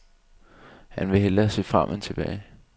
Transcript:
Han ville hellere se frem end tilbage.